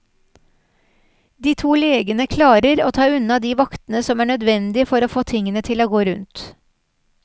De to legene klarer å ta unna de vaktene som er nødvendig for å få tingene til å gå rundt.